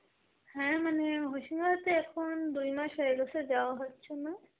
হ্যাঁ মানে হশিমাবাদ তো এখন দুই মাস হয়ে গেসে যাওয়া হচ্ছে না.